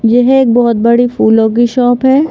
यह एक बहुत बड़ी फूलों की शॉप है।